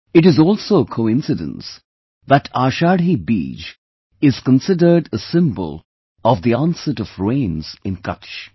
It is also a coincidence that Ashadhi Beej is considered a symbol of the onset of rains in Kutch